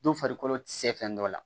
Don farikolo se fɛn dɔ la